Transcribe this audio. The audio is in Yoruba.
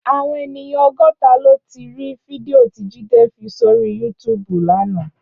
Áwòn éniyàn ógòtá lóti ri fídìó ti Jide fi sóri yútùbú làná